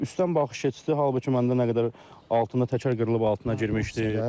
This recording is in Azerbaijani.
Üstdən baxış keçdi, halbuki məndə nə qədər altında təkər qırılıb altına girmişdi.